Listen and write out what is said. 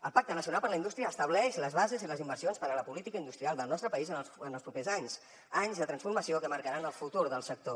el pacte nacional per a la indústria estableix les bases i les inversions per a la política industrial del nostre país en els propers anys anys de transformació que marcaran el futur del sector